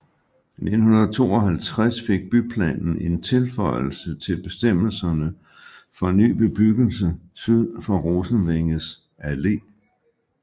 I 1952 fik byplanen en tilføjelse til bestemmelserne for ny bebyggelse syd for Rosenvængets Allé